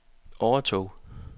overtog